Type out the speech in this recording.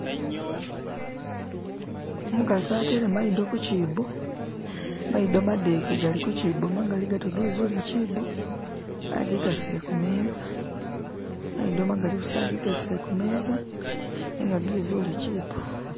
umukasi atele mayido kukyibo mayido madeke gali kukyibo gali magali gatyo agikasile kumeza mayido magali agikasile kumeza nenga gezule kyibo